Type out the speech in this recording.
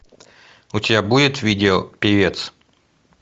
у тебя будет видео певец